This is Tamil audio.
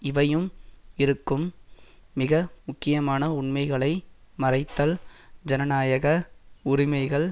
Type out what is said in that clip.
இவையும் இருக்கும் மிக முக்கியமான உண்மைகளை மறைத்தல் ஜனநாயக உரிமைகள்